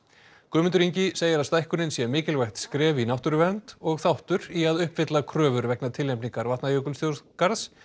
Guðmundur Ingi segir að stækkunin sé mikilvægt skref í náttúruvernd og þáttur í að uppfylla kröfur vegna tilnefningar Vatnajökulsþjóðgarðs